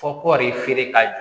Fɔ kɔɔri feere k'a jɔ